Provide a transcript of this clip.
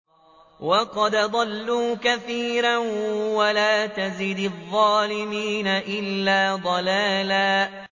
وَقَدْ أَضَلُّوا كَثِيرًا ۖ وَلَا تَزِدِ الظَّالِمِينَ إِلَّا ضَلَالًا